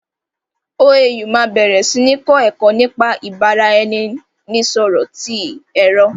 OAU máa bẹ̀rẹ̀ sí ní kọ́ ẹ̀kọ́ nípa ìbára ẹni nisọ̀rọ̀ ti èrò